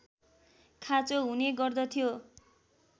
खाँचो हुने गर्दथ्यो